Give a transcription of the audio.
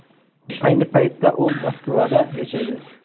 Ayni paytda u Moskvada yashaydi.